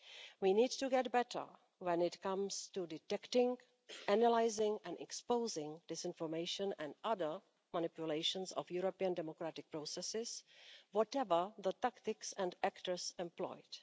We need to get better when it comes to detecting, analysing and exposing disinformation and other manipulations of European democratic processes, whatever the tactics and actors employed.